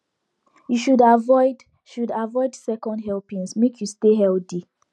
you should avoid should avoid second helpings make you stay healthy